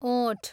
ओठ